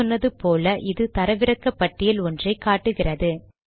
முன் சொன்னது போல இது தரவிறக்க பட்டியல் ஒன்றை காட்டுகிறது